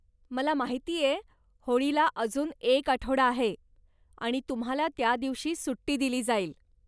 मला माहितीये होळीला अजून एक आठवडा आहे, आणि तुम्हाला त्यादिवशी सुट्टी दिली जाईल.